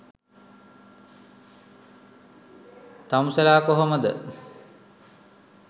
තමුසෙලා කොහොමද